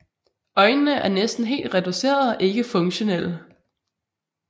Øjnene er næsten helt reducerede og ikke funktionelle